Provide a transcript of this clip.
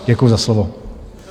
Děkuji za slovo.